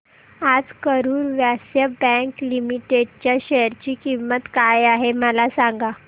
आज Karur Vysya bank limited च्या share ची किंमत काय आहे मला सांगा